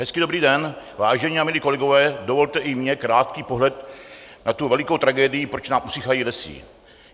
Hezký dobrý den, vážení a milí kolegové, dovolte i mně krátký pohled na tu velikou tragédii, proč nám usychají lesy.